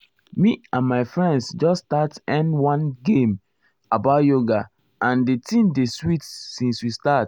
me and my friends just start erm one game about yoga and di thing dey sweet since we start.